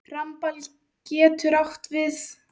Rambald getur átt við